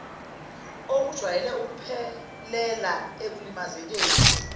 okujwayele ukuphelela ekulimazekeni